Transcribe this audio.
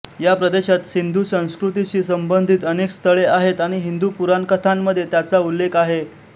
या प्रदेशात सिंधू संस्कृतीशी संबंधित अनेक स्थळे आहेत आणि हिंदू पुराणकथांमध्ये त्याचा उल्लेख आहे